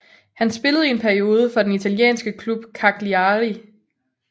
Han spillede i en periode for den italienske klub Cagliari